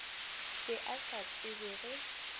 be a sa tsebe ge